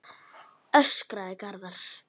öskraði Garðar.